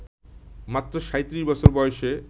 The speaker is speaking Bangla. মাত্র ৩৭ বছর বয়সে